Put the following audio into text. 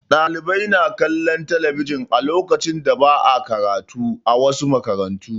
Ɗalibai na kalllon talabijin a lokacin da ba'a karatu, a wasu makarantun.